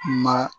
Ma